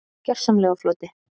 Gjörsamlega á floti.